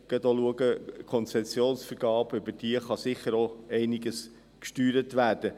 Über die Konzessionsvergabe kann sicher auch einiges gesteuert werden.